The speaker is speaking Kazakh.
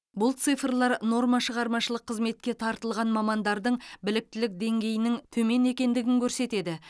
бұл цифрлар нормашығармашылық қызметке тартылған мамандардың біліктілік деңгейінің төмен екендігін көрсетеді